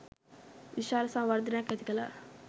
විශාල සංවර්ධනයක් ඇතිකළා.